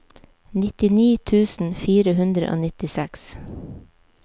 nittini tusen fire hundre og nittiseks